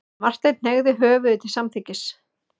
Marteinn hneigði höfðið til samþykkis.